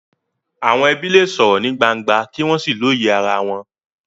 Àwọn ẹbí lè sọ̀rọ̀ ní gbangba kí wọ́n sì lóye ara wọn.